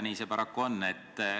Nii see paraku on.